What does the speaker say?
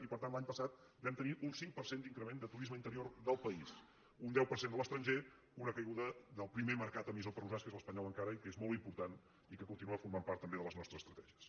i per tant l’any passat vam tenir un cinc per cent d’increment de turisme interior del país un deu per cent de l’estranger una caiguda del pri·mer mercat emissor per nosaltres que és l’espanyol en·cara i que és molt important i que continua formant part també de les nostres estratègies